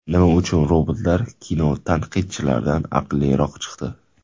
Nima uchun robotlar kinotanqidchilardan aqlliroq chiqdi?